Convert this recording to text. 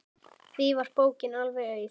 Því var bókin alveg auð.